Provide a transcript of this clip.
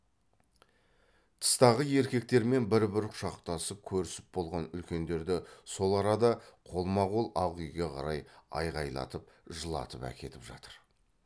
тыстағы еркектермен бір бір құшақтасып көрісіп болған үлкендерді сол арада қолма қол ақ үйге қарай айғайлатып жылатып әкетіп жатыр